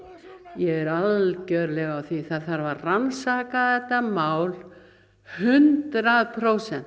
ég er algjörlega á því það þarf að rannsaka þetta mál hundrað prósent